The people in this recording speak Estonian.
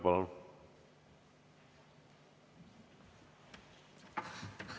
Palun!